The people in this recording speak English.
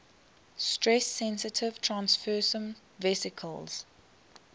stress sensitive transfersome vesicles